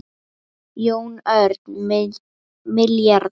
Jón Örn: Milljarðar?